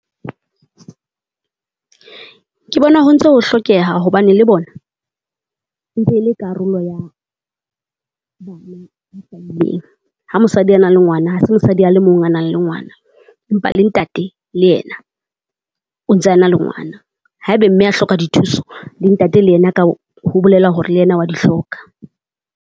Ke bona ho ntso ho hlokeha hobane le bona ntse le karolo ya bona ileng. Ha mosadi a nang le ngwana ha se mosadi a le mong a nang le ngwana, empa le ntate le yena o ntse a nang le ngwana haebe mme a hloka dithuso, le ntate le yena ka ho ho bolela hore le yena wa di hloka.